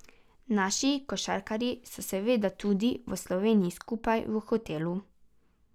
Naši košarkarji so seveda tudi v Sloveniji skupaj v hotelu.